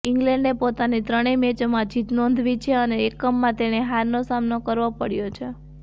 ઇંગ્લેન્ડે પોતાની ત્રણેય મેચોમાં જીત નોંધાવી છે અને એકમાં તેણે હારનો સામનો કરવો પડ્યો છે